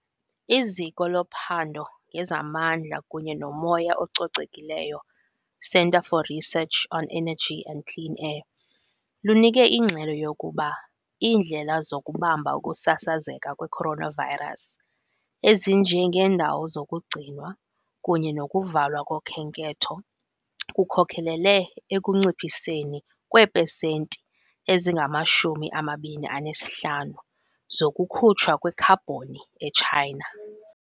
IZiko loPhando ngezaMandla kunye nomoya ococekileyo, Centre for Research on Energy and Clean Air, lunike ingxelo yokuba iindlela zokubamba ukusasazeka kwe-coronavirus, ezinjengeendawo zokugcinwa kunye nokuvalwa kokhenketho, kukhokelele ekunciphiseni kweepesenti ezingama-25 zokukhutshwa kwekhabhoni e-China.